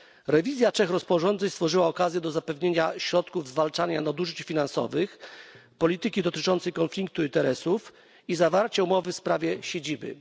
Rewizja trzech rozporządzeń stworzyła okazję do zapewnienia środków zwalczania nadużyć finansowych, polityki dotyczącej konfliktu interesów i zawarcia umowy w sprawie siedziby.